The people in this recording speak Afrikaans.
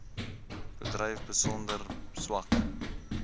bedryf besonder swak